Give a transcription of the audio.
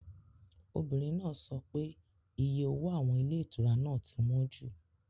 Obìnrin náà sọ pé iye owó àwọn ilé ìtura náà ti wọ́n jù.